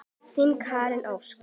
Þín Karen Ósk.